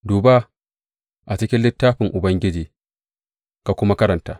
Duba a cikin littafin Ubangiji ka kuma karanta.